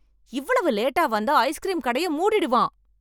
இவ்வளவு லேட்டா வந்தா ஐஸ்கிரீம் கடையை மூடிடுவான்